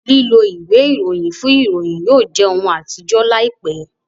lilọ ìwé Ìròyìn fún ìròyìn yóò jẹ òún atijọ láìpé.